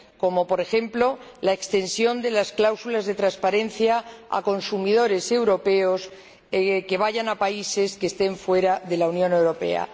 como, por ejemplo, la extensión de las cláusulas de transparencia a consumidores europeos que vayan a países que no formen parte de la Unión Europea.